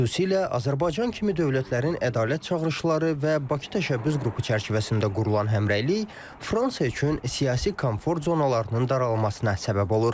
Xüsusilə Azərbaycan kimi dövlətlərin ədalət çağırışları və Bakı təşəbbüs qrupu çərçivəsində qurulan həmrəylik Fransa üçün siyasi komfort zonalarının daralmasına səbəb olur.